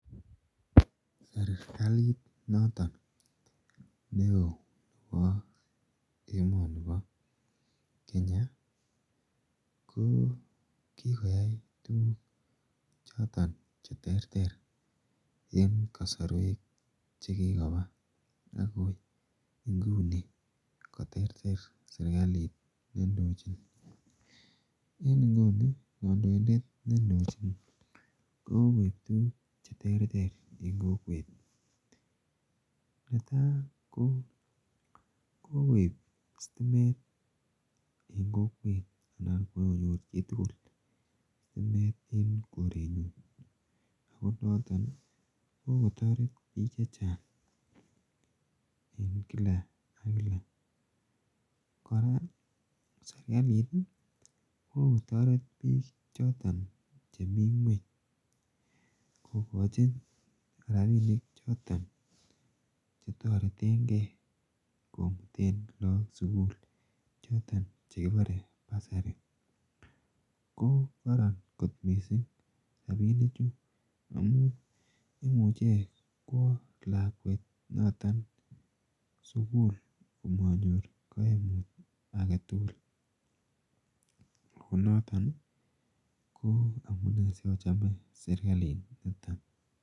Serikalit noton ne oo nepa emani pa Kenya ko kikoyai tuguuk che terter en kasrwek che kikopa akoi ingune koterter serikalit ne indochin. En inguni kandoindet ne ndochin koipun tuguk che terter en kokwet. Ne tai ko koip stimet en kokwet, ako kokonyor chi tugul stimet en korenyun ako noton kokotaret piik che chang' en kila ak kila. Kora serkalit kokotaret piik choton chemi ng'weny kokachin rapinik choton che tareten gei komuten lagok sukul, chotok che kiparen bursary. Ko kararan kot missing' rapinichu amu imuche kowa lakwet noton sukul kanyor kaimut age tugul. Ako noton ko amune sikochame serikalit niton.